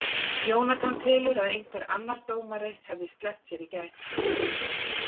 Jóhann telur að einhver annar dómari hefði sleppt sér í gær.